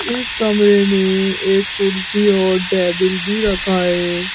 इस कमरे में एक कुर्सी और टेबल भी रखा है।